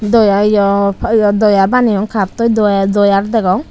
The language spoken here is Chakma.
doyay aw ye doya baneyon kattoi doya doyar degong.